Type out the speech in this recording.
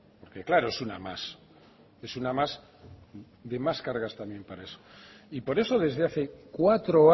porque claro es una más es una más de más cargas también para eso y por eso desde hace cuatro